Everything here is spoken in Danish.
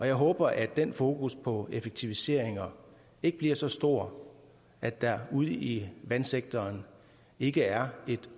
jeg håber at den fokus på effektiviseringer ikke bliver så stor at der ude i vandsektoren ikke er